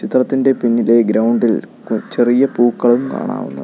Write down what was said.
ചിത്രത്തിൻ്റെ പിന്നിലെ ഗ്രൗണ്ട് ഇൽ കു ചെറിയ പൂക്കളും കാണാവുന്നതാണ്.